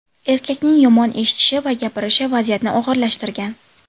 Erkakning yomon eshitishi va gapirishi vaziyatni og‘irlashtirgan.